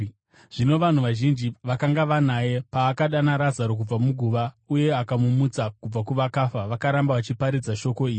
Zvino vanhu vazhinji vakanga vanaye paakadana Razaro kubva muguva uye akamumutsa kubva kuvakafa vakaramba vachiparadzira shoko iri.